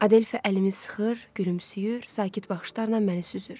Adelfa əlimi sıxır, gülümsəyir, sakit baxışlarla məni süzür.